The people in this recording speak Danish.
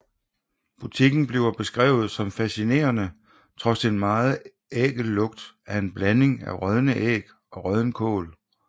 Butikken bliver beskrevet som fascinerende trods en meget ækel lugt af en blanding af rådne æg og rådden kål